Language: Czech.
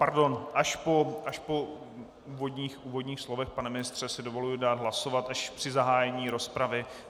Pardon, až po úvodních slovech, pane ministře, si dovoluji dát hlasovat, až při zahájení rozpravy.